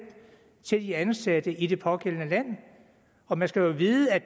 til de ansatte i det pågældende land og man skal jo vide at